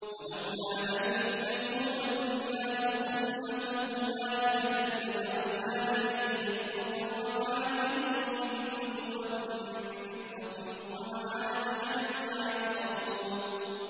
وَلَوْلَا أَن يَكُونَ النَّاسُ أُمَّةً وَاحِدَةً لَّجَعَلْنَا لِمَن يَكْفُرُ بِالرَّحْمَٰنِ لِبُيُوتِهِمْ سُقُفًا مِّن فِضَّةٍ وَمَعَارِجَ عَلَيْهَا يَظْهَرُونَ